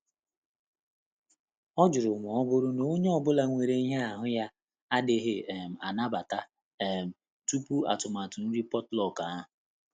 Ọ jụrụ ma ọ bụrụ na onye ọ bụla nwere ihe ahu ya adighi um anabata um tupu atụmatụ nri potluck ahụ.